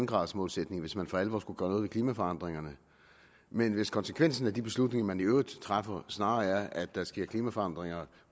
graders målsætning hvis man for alvor skulle gøre noget ved klimaforandringerne men hvis konsekvensen af de beslutninger man i øvrigt træffer snarere er at der sker klimaforandringer